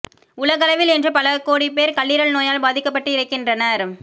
உலகளவில் இன்று பல கோடிப் பேர் கல்லீரல் நோயால் பாதிக்கப்பட்டு இறக்கின்றனர்